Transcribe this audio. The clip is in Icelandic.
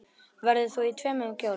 Verður þú í tveimur kjólum?